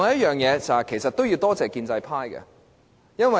我們其實要多謝建制派。